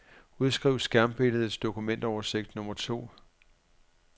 Udskriv skærmbilledets dokumentoversigt nummer to.